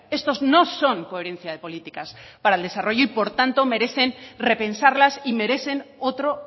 estos no son coherencia de políticas para el desarrollo y por tanto merecen repensarlas y merecen otro